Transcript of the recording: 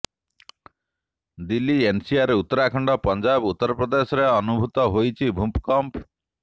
Delhi NCR Uttarakhand Punjab ଉତ୍ତରପ୍ରଦେଶରେ ଅନୁଭୂତ ହୋଇଛି ଭୂକମ୍ପ